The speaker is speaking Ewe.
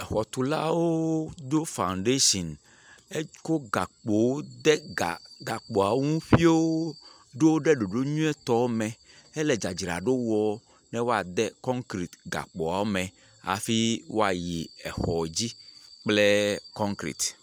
Exɔtulawo ɖo fandetsi. Ekɔ gakpoawo de gakpoawo ŋu ƒio ɖo wo ɖe ɖoɖo nyuitɔ me hele dzadzraɖo wɔm ne woade kɔnkret hafi woayi exɔ dzi kple kɔnkret.